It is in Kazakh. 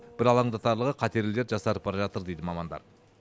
бір алаңдатарлығы қатерлі дерт жасарып бара жатыр дейді мамандар